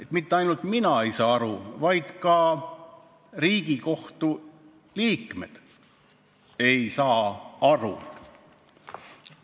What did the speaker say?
Et mitte ainult mina ei saa aru, vaid ka Riigikohtu liikmed ei saa aru.